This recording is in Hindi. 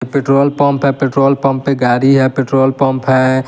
पेट्रोल पंप हैं पेट्रोल पंप पर गारी है पेट्रोल पंप है।